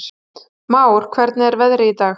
Már, hvernig er veðrið í dag?